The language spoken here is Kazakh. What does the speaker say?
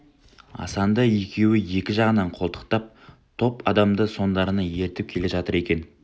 асанды екеуі екі жағынан қолтықтап топ адамды соңдарынан ертіп келе жатыр екен